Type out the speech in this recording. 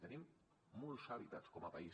tenim molts hàbitats com a país